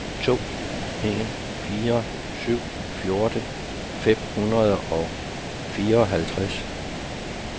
to en fire syv fjorten fem hundrede og fireoghalvtreds